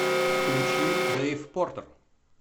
включи дэйв портер